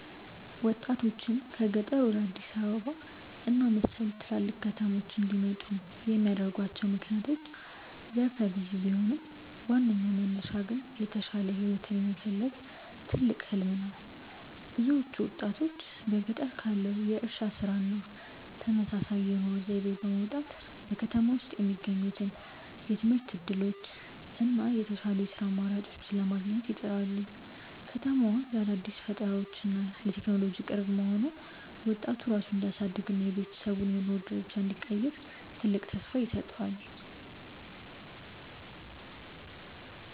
ወጣቶችን ከገጠር ወደ አዲስ አበባ እና መሰል ትላልቅ ከተሞች እንዲመጡ የሚያደርጓቸው ምክንያቶች ዘርፈ ብዙ ቢሆኑም፣ ዋናው መነሻ ግን የተሻለ ህይወትን የመፈለግ ትልቅ "ህሊም" ነው። ብዙዎቹ ወጣቶች በገጠር ካለው የእርሻ ስራ እና ተመሳሳይ የኑሮ ዘይቤ በመውጣት፣ በከተማ ውስጥ የሚገኙትን የትምህርት እድሎች እና የተሻሉ የስራ አማራጮችን ለማግኘት ይጥራሉ። ከተማዋ ለአዳዲስ ፈጠራዎች እና ለቴክኖሎጂ ቅርብ መሆኗ፣ ወጣቱ ራሱን እንዲያሳድግ እና የቤተሰቡን የኑሮ ደረጃ እንዲቀይር ትልቅ ተስፋ ይሰጠዋል።